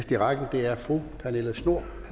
i rækken er fru pernille schnoor